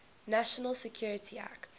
national security act